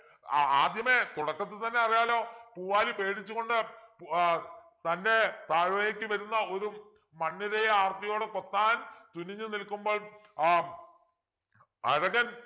ആ ആദ്യമേ തുടക്കത്തിൽ തന്നെ അറിയാലോ പൂവാലി പേടിച്ചു കൊണ്ട് ഏർ തൻ്റെ താഴേക്ക് വരുന്ന ഒരു മണ്ണിരയെ ആർത്തിയോടെ കൊത്താൻ തുനിഞ്ഞു നിൽക്കുമ്പോൾ ആഹ് അഴകൻ